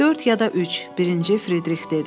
Dörd ya da üç, birinci Fridrix dedi.